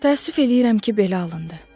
Təəssüf eləyirəm ki, belə alındı.